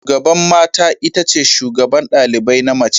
Shugaban mata itace shugaban ɗalibai na mace.